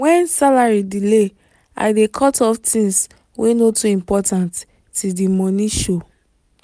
when salary delay i dey cut off things wey no too important till the money show.